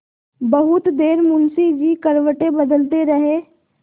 बहुत देर मुंशी जी करवटें बदलते रहे